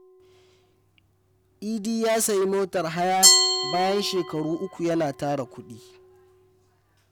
Idi ya sayi motar haya bayan shekaru uku yana tara kudi.